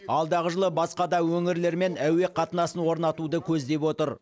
алдағы жылы басқа да өңірлермен әуе қатынасын орнатуды көздеп отыр